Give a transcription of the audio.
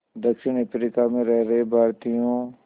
दक्षिण अफ्रीका में रह रहे भारतीयों